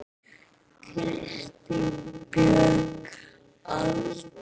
Kristín Björg Aldur?